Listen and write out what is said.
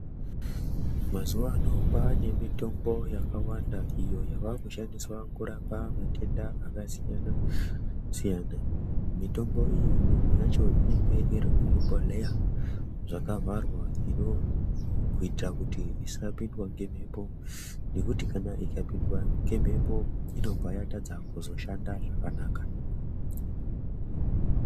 Mazuwano kwaane mitombo yakawanda iyo yavakushandisa kurapa matenda akasiyana-siyana mitombo iyi mimwe yacho inenge iri muzvibhodhleya zvakavharwa kuita kuti isapindwa ngemhepo nekuti ikapindwa ngemhepo inobva yatadza kuzoshanda zvakanaka.